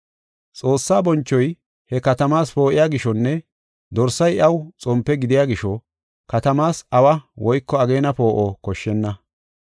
Xoossaa bonchoy he katamaas poo7iya gishonne Dorsay iyaw xompe gidiya gisho katamaas awa woyko ageena poo7o koshshenna.